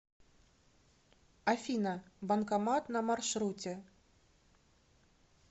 афина банкомат на маршруте